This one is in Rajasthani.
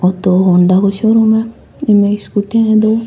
ओ तो होण्डा को शो-रूम है इमें स्कूटी है दो।